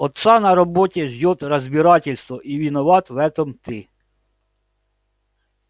отца на работе ждёт разбирательство и виноват в этом ты